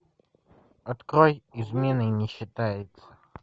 открой изменой не считается